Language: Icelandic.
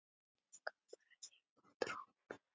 Gaf bara einn á tromp!